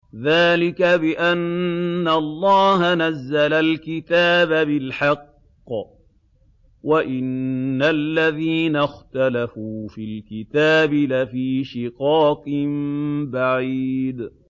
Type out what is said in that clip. ذَٰلِكَ بِأَنَّ اللَّهَ نَزَّلَ الْكِتَابَ بِالْحَقِّ ۗ وَإِنَّ الَّذِينَ اخْتَلَفُوا فِي الْكِتَابِ لَفِي شِقَاقٍ بَعِيدٍ